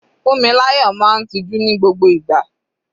Funmilayo máa ń tiju ní gbogbo ìgbà.